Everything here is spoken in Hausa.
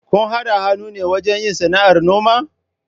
Kun haɗa hannu ne wajen yin sana'ar noma?